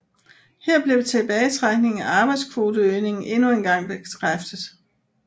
Her blev tilbagetrækningen af arbejdskvoteøgningen endnu engang bekræftet